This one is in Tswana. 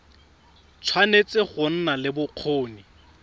tshwanetse go nna le bokgoni